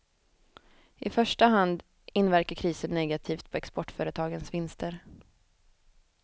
I första hand inverkar krisen negativt på exportföretagens vinster.